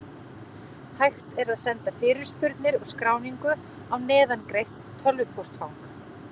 Hægt er að senda fyrirspurnir og skráningu á neðangreint tölvupóstfang.